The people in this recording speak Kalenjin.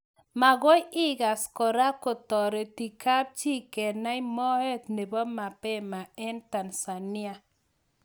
Makoi ikas koraa kotoreti kapchii kenai moet nepo mapema eng Tanzania?